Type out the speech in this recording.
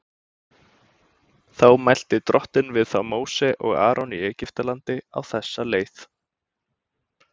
Þá mælti Drottinn við þá Móse og Aron í Egyptalandi á þessa leið:.